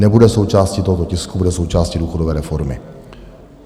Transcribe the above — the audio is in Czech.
Nebude součástí tohoto tisku, bude součástí důchodové reformy.